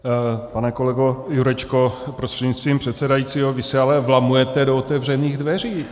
Pane kolego Jurečko prostřednictvím předsedajícího, vy se ale vlamujete do otevřených dveří.